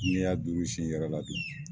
Ne y'a durusi i yɛrɛ la dun